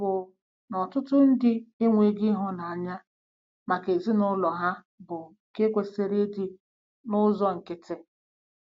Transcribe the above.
Ọ̀ bụ na ọtụtụ ndị enweghị ịhụnanya maka ezinụlọ ha bụ́ nke kwesịrị ịdị n'ụzọ nkịtị?